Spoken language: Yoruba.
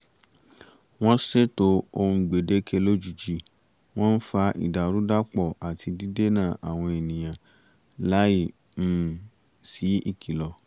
wọ́n ṣètò ohun gbèdéke lójijì wọ́n ń fa ìdàrúdàpọ̀ àti dídènà àwọn ènìyàn láì um sí ìkìlọ̀